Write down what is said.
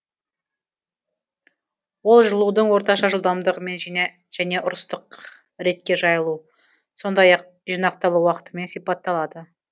ол жылудың орташа жылдамдығымен және ұрыстық ретке жайылу сондай ақ жинақталу уақытымен сипатталады